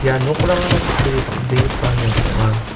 ia nokrangara kutturi bang·begipa nok ong·a.